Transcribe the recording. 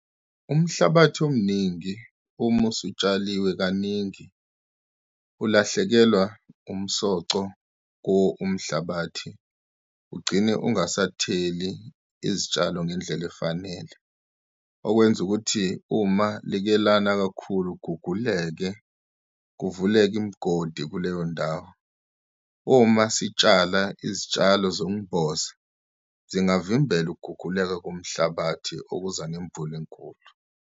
Umhlabathi omningi uma usutshaliwe kaningi, ulahlekelwa umsoco ko umhlabathi ugcine ungasatheli izitshalo ngendlela efanele. Okwenza ukuthi uma like lana kakhulu, kuguguleke kuvuleke imigodi kuleyo ndawo. Uma sitshala izitshalo zokumboza, zingavimbela ukuguguleka komhlabathi okuza nemvula enkulu.